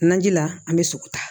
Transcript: Naji la an bɛ sogo ta